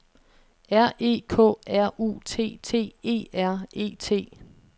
R E K R U T T E R E T